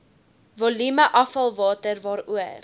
volume afvalwater waaroor